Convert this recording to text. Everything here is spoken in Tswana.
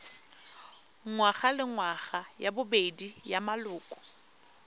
ngwagalengwaga ya bobedi ya maloko